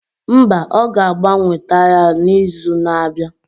Mba, ọ ga-agbanwe taya n'izu na-abịa.